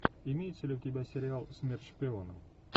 имеется ли у тебя сериал смерть шпиона